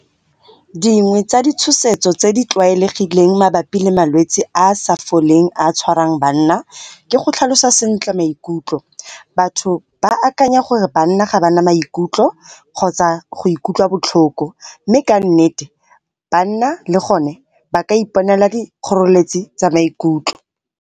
Dingwe tsa ditshosetso tse di tlwaelegileng mabapi le malwetsi a a sa foleng a tshwarang banna ke go tlhalosa sentle maikutlo. Batho ba akanya gore banna ga ba na maikutlo kgotsa go ikutlwa botlhoko, mme ka nnete banna le gone ba ka iponela di kgoreletsi tsa maikutlo.